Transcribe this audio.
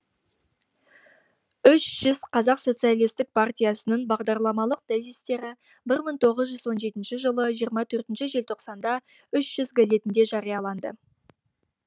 үш жүз қазақ социалистік партиясының бағдарламалық тезистері бір мың тоғыз жүз он жетінші жылы жиырма төртінші желтоқсанда үш жүз газетінде жарияланды